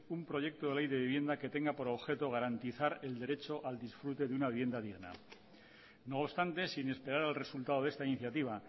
un proyecto de ley de vivienda que tenga por objeto garantizar el derecho al disfrute de una vivienda digna no obstante sin esperar al resultado de esta iniciativa